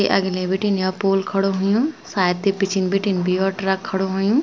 ये अगने बीटिन या पोल खडू हुयुं सायद ये पिछिन बीटिन द्वी और ट्रक खडू हुयुं।